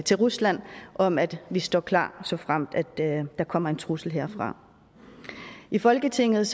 til rusland om at vi står klar såfremt der kommer en trussel herfra i folketinget